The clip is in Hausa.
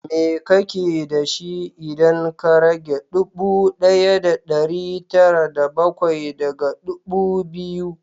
Me kake da shi, idan ka rage ɗubu ɗaya da ɗari tara da bakwai daga ɗubu biyu?